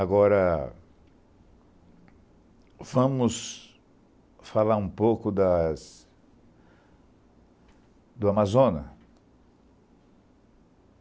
Agora, vamos falar um pouco das do Amazonas.